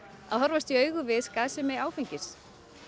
að horfast í augu við skaðsemi áfengis